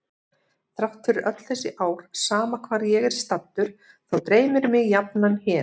Þrátt fyrir öll þessi ár sama hvar ég er staddur þá dreymir mig jafnan hér.